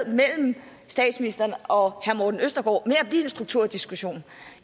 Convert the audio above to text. mellem statsministeren og herre morten østergaard med at blive en strukturdiskussion